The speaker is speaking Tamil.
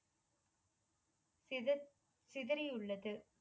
சித சிதறியுள்ளது